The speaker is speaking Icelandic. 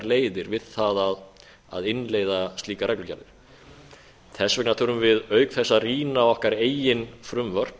leiðir við það að innleiða slíkar reglugerðir þess vegna þurfum við á þess að rýna okkar eigin frumvörp